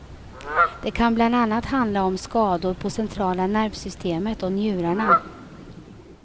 Det kan bland annat handla om skador på centrala nervsystemet och njurarna.